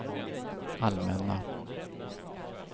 allmänna